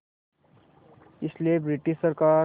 इसलिए ब्रिटिश सरकार